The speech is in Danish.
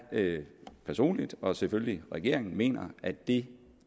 personligt og selvfølgelig regeringen mener at det